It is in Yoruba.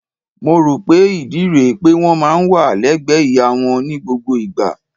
Mo rò pé ìdí rẹ̀ pé wọ́n máa ń wà légbẹ̀ẹ́ ìyá wọn ní gbogbo ìgbà.